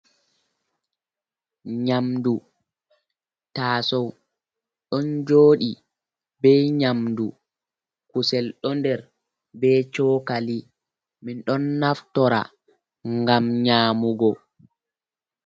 Nyamdu tasow ɗon jodi be nyamdu kusel ɗo nder be cokali min ɗon naftora ngam nyamugo.